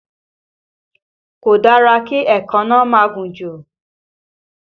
Kò dára kí èékánná máa gùn jù